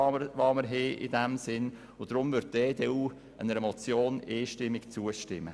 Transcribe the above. Aus diesem Grund wird die EDU-Fraktion der Motion einstimmig zustimmen.